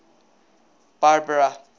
barbara